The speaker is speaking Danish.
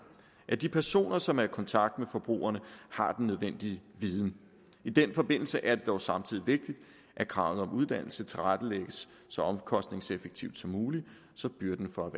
at de personer som er i kontakt med forbrugerne har den nødvendige viden i den forbindelse er det dog samtidig vigtigt at kravet om uddannelse tilrettelæggelses så omkostningseffektivt som muligt så byrden for